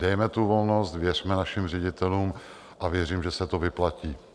Dejme tu volnost, věřme našim ředitelům a věřím, že se to vyplatí.